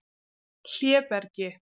Hlébergi